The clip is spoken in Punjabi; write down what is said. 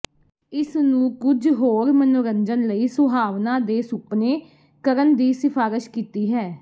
ਇਸ ਨੂੰ ਕੁਝ ਹੋਰ ਮਨੋਰੰਜਨ ਲਈ ਸੁਹਾਵਣਾ ਦੇ ਸੁਪਨੇ ਕਰਨ ਦੀ ਸਿਫਾਰਸ਼ ਕੀਤੀ ਹੈ